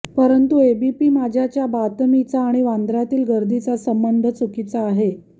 परंतु एबीपी माझाच्या बातमीचा आणि वांद्र्यातील गर्दीचा संबंध चुकीचा आहे